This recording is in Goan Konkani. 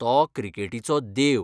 तो 'क्रिकेटीचो देव'.